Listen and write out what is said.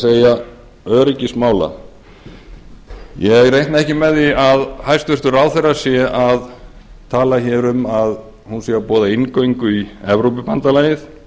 það er öryggismála ég reikna ekki með því að hæstvirtur ráðherra sé að tala hér um að hún sé að boða inngöngu í evrópubandalagið